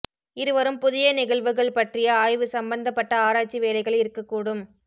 இருவரும் புதிய நிகழ்வுகள் பற்றிய ஆய்வு சம்பந்தப்பட்ட ஆராய்ச்சி வேலைகள் இருக்கக்கூடும்